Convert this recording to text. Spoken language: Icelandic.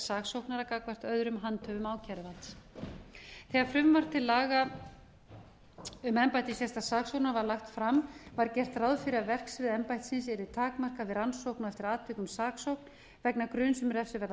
saksóknara gagnvart öðrum handhöfum ákæruvalds þegar frumvarp til laga um embætti sérstaks saksóknara var lagt fram var gert ráð fyrir að verksvið embættisins yrði takmarkað við rannsókn og eftir atvikum saksókn vegna gruns um refsiverða